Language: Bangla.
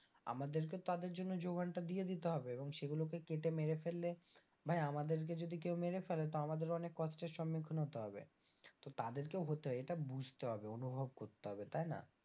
আমাদেরকেও তাদের জন্য যোগানটা দিয়ে দিতে হবে এবং সেগুলোকে কেটে মেরে ফেললে, ভাই আমাদেরকে যদি কেউ মেরে ফেলে তো আমাদের অনেক কষ্টের সম্মুখীন হতে হবে তো তাদেরকেও হতে হয় এটা বুঝতে হবে অনুভব করতে হবে তাই না?